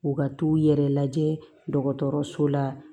U ka t'u yɛrɛ lajɛ dɔgɔtɔrɔso la